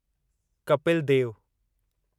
Kapil Dev